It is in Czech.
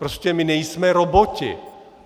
Prostě my nejsme roboti!